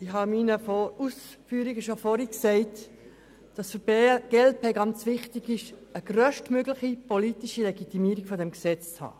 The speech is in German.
Ich habe in meinen Ausführungen bereits gesagt, dass es für die glp-Fraktion sehr wichtig ist, eine grösstmögliche politische Legitimierung dieses Gesetzes zu haben.